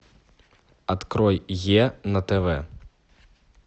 открой е на тв